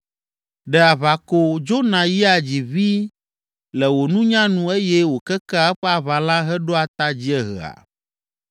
“Ɖe aʋako dzona yia dzi ʋĩi le wò nunya nu eye wòkekea eƒe aʋalã heɖoa ta dziehea?